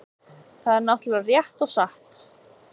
Það er náttúrlega rétt og satt